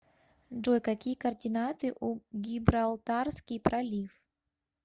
джой какие координаты у гибралтарский пролив